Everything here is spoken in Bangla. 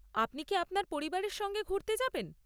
আপনি কি আপনার পরিবারের সঙ্গে ঘুরতে যাবেন?